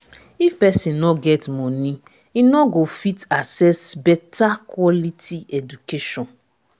if pesin no get money e no go fit access beta quality education